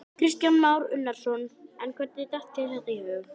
Kristján Már Unnarsson: En hvernig datt þér þetta í hug?